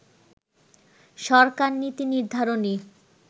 সরকার নীতি নির্ধারণী